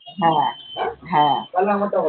হ্যাঁ হ্যাঁ